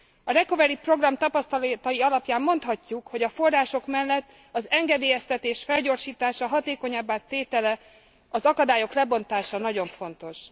A Recovery Program tapasztalatai alapján mondhatjuk, hogy a források mellett az engedélyeztetés felgyorsítása, hatékonyabbá tétele, az akadályok lebontása nagyon fontos.